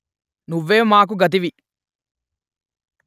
నువ్వే మాకు గతివి